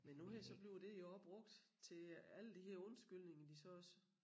Men nu her så bliver det jo også brugt til alle de her undskyldninger de så også